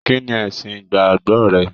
Kínní ẹsìn ìgbàgbọ rẹ?